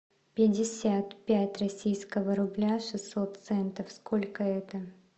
пятьдесят пять российского рубля шестьсот центов сколько это